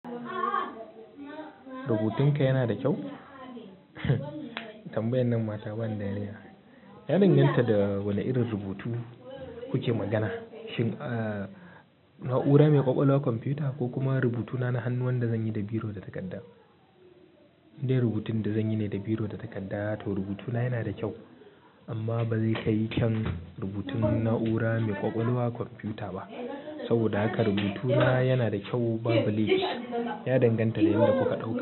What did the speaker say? Rubutun ka yana da kyau. Tambayan nan ma ta bani dariya. Ya danganta da wani irin rubutu kuke magana. Shin a na'ura mai ƙwaƙwalwar komfiyuta ko kuma rubutu na na hannu wanda zan yi da biro da takarda. Indai rubutun da zan yi ne da biro da takarda to rubutuna yana da kyau amma ba zai kai kyan rubutun na'ura mai ƙwaƙwalwa komfiyuta ba. Saboda haka rubutuna yana da kyau ba bu lefi. Ya danganta da wanda kuka dauka.